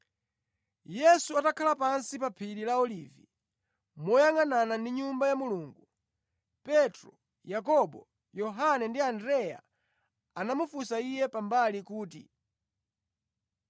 Yesu atakhala pansi pa phiri la Olivi moyangʼanana ndi Nyumba ya Mulungu, Petro, Yakobo, Yohane ndi Andreya anamufunsa Iye pambali kuti,